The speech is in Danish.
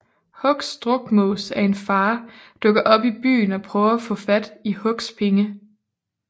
Hucks drukmås af en far dukker op i byen og prøver at få fat i Hucks penge